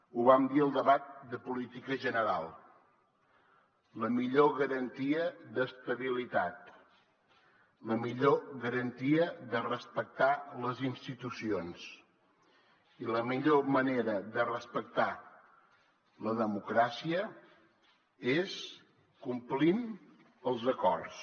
ho vam dir al debat de política general la millor garantia d’estabilitat la millor garantia de respectar les institucions i la millor manera de respectar la democràcia és complint els acords